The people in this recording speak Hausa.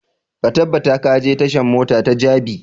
Ka tabbata ka je tashan mota ta jabi!